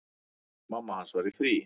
Mamma hans var í fríi.